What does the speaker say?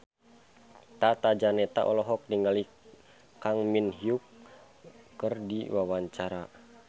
Tata Janeta olohok ningali Kang Min Hyuk keur diwawancara